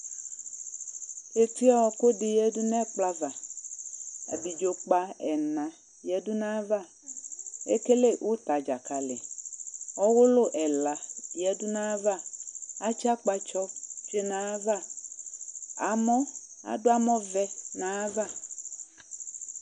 Etiɔɔkʋ dɩ yǝdu n'ɛkplɔ ava Abidzokpa ɛna yǝdu n'ayava ekele ʋtadzakali ,ɔwʋlʋ ɛla yǝdu n'ayava ,atsɩ akpatsɔ tsue n'ayava ,amɔ adʋ amɔvɛ n'ayava